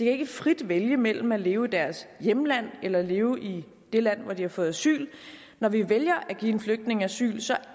ikke frit vælge mellem at leve i deres hjemland eller leve i det land hvor de har fået asyl når vi vælger at give en flygtning asyl